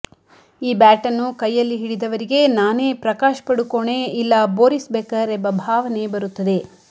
ಈ ಬ್ಯಾಟನ್ನು ಕೈಯಲ್ಲಿ ಹಿಡಿದವರಿಗೆ ನಾನೇ ಪ್ರಕಾಶ್ ಪಡುಕೋಣೇ ಇಲ್ಲಾ ಬೋರಿಸ್ ಬೆಕರ್ ಎಂಬ ಭಾವನೆ ಬರುತ್ತದೆ